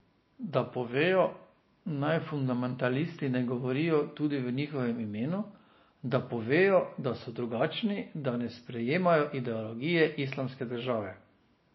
Da povejo, naj fundamentalisti ne govorijo tudi v njihovem imenu, da povejo, da so drugačni, da ne sprejemajo ideologije Islamske države.